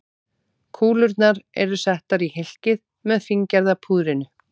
Kúlurnar eru settar í hylkið með fíngerða púðrinu.